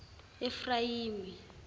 efrayimi